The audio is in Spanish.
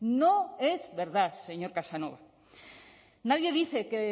no es verdad señor casanova nadie dice que